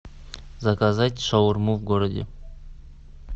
заказать шаурму в городе